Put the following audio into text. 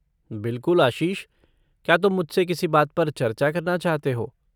बिलकुल आशीष, क्या तुम मुझसे किसी बात पर चर्चा करना चाहते हो?